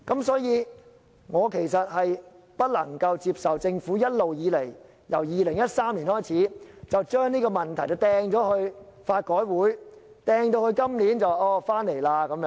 所以，我其實不能接受政府自2013年一直將這個問題推予香港法律改革委員會，推至今年才重提這個問題。